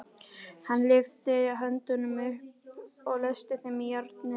Hann lyfti höndunum upp og læsti þeim í járnnetið.